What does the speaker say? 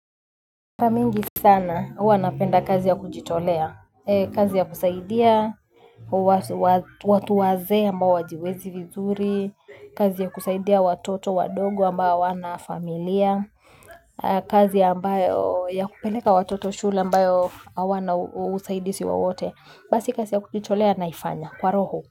Mara mingi sana huwa napenda kazi ya kujitolea, kazi ya kusaidia, watu wazee ambao wajiwezi vizuri, kazi ya kusaidia watoto, wadogo ambao hawana familia, kazi ambayo ya kupeleka watoto shula ambao hawana usaidizi wowote, basi kazi ya kujitolea naifanya kwa roho.